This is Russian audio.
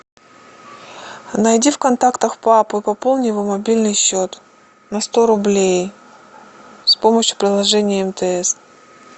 найди в контактах папу и пополни его мобильный счет на сто рублей с помощью приложения мтс